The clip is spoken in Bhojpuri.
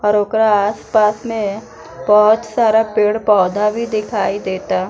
और ओकरा आस-पास में बहोत सारा पेड़-पौधा भी दिखाई देता।